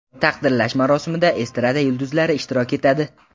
Taqdirlash marosimida estrada yulduzlari ishtirok etadi.